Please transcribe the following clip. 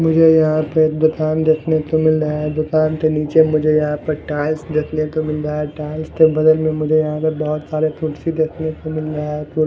मुझे यहां पे दुकान देखने को मिल रहा है दुकान के नीचे मुझे यहां पे टाइल्स देखने को मिल रहा है टाइल्स के बगल में मुझे यहां पे बहुत सारे कुर्सी देखने को मिल रहा है कुर--